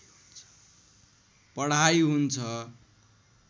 पढाइ हुन्छ